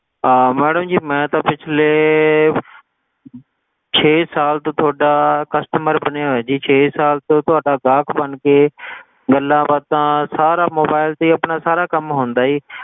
ਆਹ Madam ਜੀ ਮੈਂ ਤਾਂ ਪਿਛਲੇ ਛੇ ਸਾਲ ਤੋਂ ਤੁਹਾਡਾ Customer ਬਣਿਆ ਹੋਇਆ ਜੀ ਛੇ ਸਾਲ ਤੋਂ ਤੁਹਾਡਾ ਗਾਹਕ ਬਣ ਕੇ ਗੱਲਾਂਬਾਤਾਂ ਸਾਰਾ mobile ਤੇ ਹੀ ਆਪਣਾ ਸਾਰਾ ਕੰਮ ਹੁੰਦਾ ਜੀ,